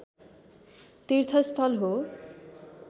तीर्थस्थल हो